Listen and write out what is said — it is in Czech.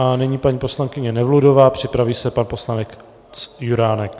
A nyní paní poslankyně Nevludová, připraví se pan poslanec Juránek.